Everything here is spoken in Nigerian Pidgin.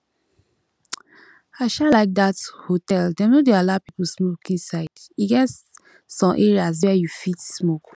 i um like dat hotel dem no dey allow people smoke inside e get um areas where you fit smoke